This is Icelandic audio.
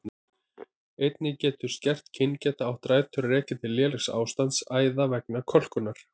Einnig getur skert kyngeta átt rætur að rekja til lélegs ástands æða vegna kölkunar.